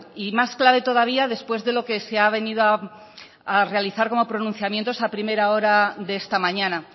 y más clave todavía después de lo que se ha venido a realizar como pronunciamiento a primera hora de esta mañana